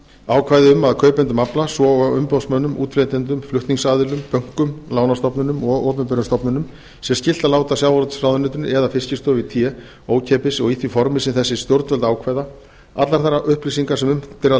ákvæði um að kaupendum afla svo og umboðsmönnum útflytjendum flutningsaðilum bönkum lánastofnunum og opinberum stofnunum sé skylt að láta sjávarútvegsráðuneytinu eða fiskistofu í té ókeypis og í því formi sem þessi stjórnvöld ákveða allar þær upplýsingar sem unnt er að